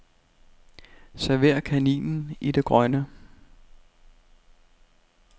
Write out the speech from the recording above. Server kaninen i det grønne.